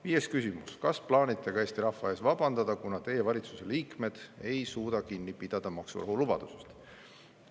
Viies küsimus: "Kas plaanite ka Eesti rahva ees ka vabandada, kuna Teie valitsuse liikmed ei suuda kinni pidada maksurahu lubadusest?